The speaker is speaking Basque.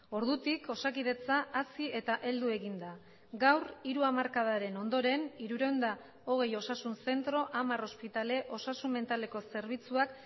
ordutik osakidetza hazi eta heldu egin da gaur hiru hamarkadaren ondoren hirurehun eta hogei osasun zentro hamar ospitale osasun mentaleko zerbitzuak